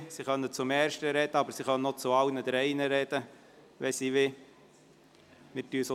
Sie können zum ersten, aber sie können auch zu allen drei Berichten sprechen, wenn sie wollen.